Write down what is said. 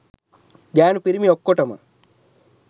ගෑණු පිරිමි ඔක්කෝටම